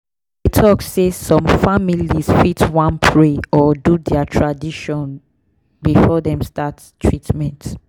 i dey talk say some families fit wan pray or do their tradition before dem start treatment.